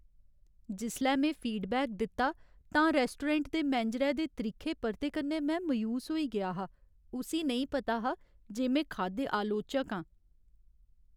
जिसलै में फीडबैक दित्ता तां रौस्टोरैंट दे मैनेजरै दे त्रिक्खे परते कन्नै में मायूस होई गेआ हा। उस्सी नेईं पता हा जे में खाद्य आलोचक आं।